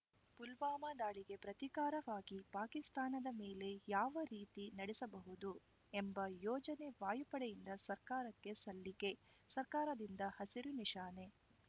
ಪುಲ್ವಾಮಾ ದಾಳಿಗೆ ಪ್ರತೀಕಾರವಾಗಿ ಪಾಕಿಸ್ತಾನದ ಮೇಲೆ ಯಾವ ರೀತಿ ನಡೆಸಬಹುದು ಎಂಬ ಯೋಜನೆ ವಾಯುಪಡೆಯಿಂದ ಸರ್ಕಾರಕ್ಕೆ ಸಲ್ಲಿಕೆ ಸರ್ಕಾರದಿಂದ ಹಸಿರು ನಿಶಾನೆ